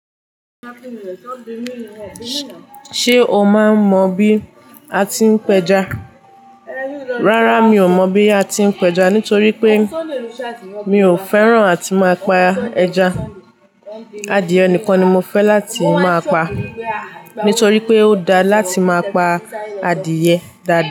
Ṣé o máa mọ bí a ti ń pẹja? Rárá mi ò mọ bí a ti ń pẹja nítorí pé mi ò fẹ́ràn àti máa pa ẹja. Adìẹ nìkan ni mo fẹ́ láti máa pa nítorí pé ó dáa láti máa pa adìẹ dáadáa.